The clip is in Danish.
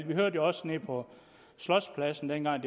vi hørte jo også nede på slotspladsen dengang